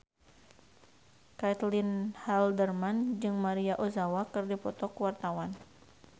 Caitlin Halderman jeung Maria Ozawa keur dipoto ku wartawan